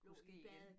Kunne ske igen